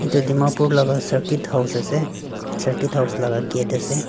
edu dimapur laka cirket house ase cirket house laka gate ase.